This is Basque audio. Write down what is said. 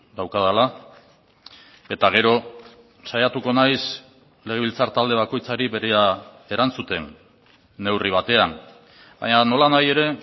daukadala eta gero saiatuko naiz legebiltzar talde bakoitzari berea erantzuten neurri batean baina nolanahi ere